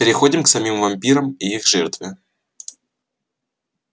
переходим к самим вампирам и их жертве